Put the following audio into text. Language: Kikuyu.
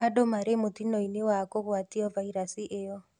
Andũ marĩ mũtino-inĩ wa kũgwatio vairasi ĩyo